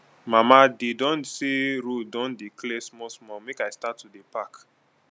mama dey don say road don dey clear small small make i start to dey park?